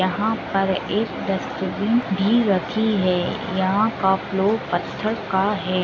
यहां पर एक डस्टबिन भी रखी है। यहां का फ्लोर पत्थर का है।